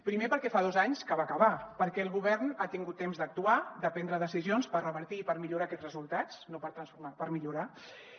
primer perquè fa dos anys que va acabar perquè el govern ha tingut temps d’actuar de prendre decisions per revertir i per millorar aquests resultats no per transformar los per millorar los